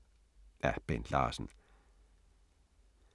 Af Bent Larsen